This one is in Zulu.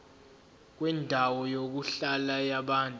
kwendawo yokuhlala yabantu